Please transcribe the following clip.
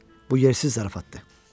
Bu yersiz zarafatdır.